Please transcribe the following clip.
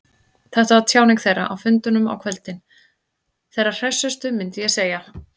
Þetta var tjáning þeirra, á fundunum á kvöldin, þeirra hressustu, myndi ég segja.